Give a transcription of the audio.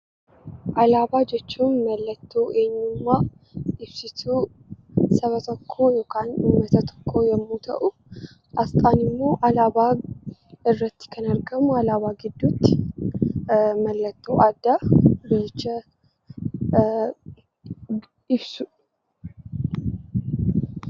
Alaabaa jechuun mallattoo eenyummaa, ibsituu saba tokkoo yookaan uummata tokko yommuu ta'u, aasxaan immoo alaabaa irratti kan argamu alaabaa gidduutti mallattoo addaa biyyicha ibsudha.